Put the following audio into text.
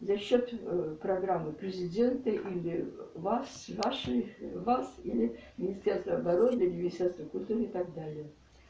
за счёт ээ программы президента или вас ваши вас или министерства обороны или министерства культуры и так далее